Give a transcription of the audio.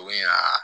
U bɛ na